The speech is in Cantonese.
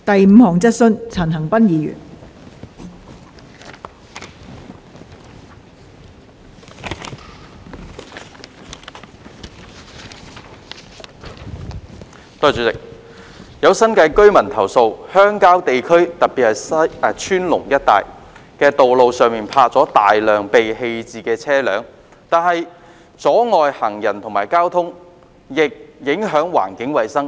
代理主席，有新界居民投訴，鄉郊地區的道路上泊有大量被棄置的車輛，不但阻礙行人和交通，亦影響環境衞生。